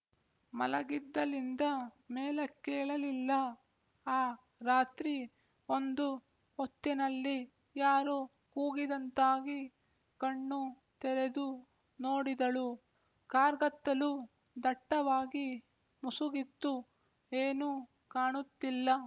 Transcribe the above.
ಮಲಗಿದಲ್ಲಿಂದ ಮೇಲಕ್ಕೇಳಲಿಲ್ಲ ಆ ರಾತ್ರಿ ಒಂದು ಹೊತ್ತಿನಲ್ಲಿ ಯಾರೊ ಕೂಗಿದಂತಾಗಿ ಕಣ್ಣು ತೆರೆದು ನೋಡಿದಳು ಕಾರ್ಗತ್ತಲು ದಟ್ಟವಾಗಿ ಮುಸುಗಿತ್ತು ಏನೂ ಕಾಣುತ್ತಿಲ್ಲ